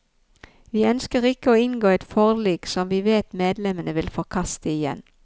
Vi ønsker ikke å inngå et forlik som vi vet medlemmene vil forkaste igjen.